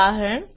ઉદાહરણ